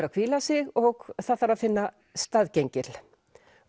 að hvíla sig og það þarf að finna staðgengil